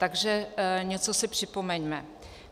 Takže něco si připomeňme.